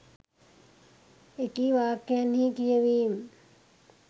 එකී වාක්‍යයන්හි කියවීම්